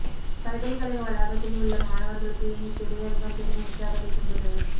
பல்கலைக்கழக வளாகத்தில் உள்ள மாணவர்களுக்கு இந்தத் திரையரங்கம் பெரும் உற்சாகத்தைத் தந்துள்ளது